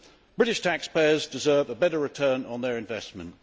British taxpayers deserve a better return on their investment.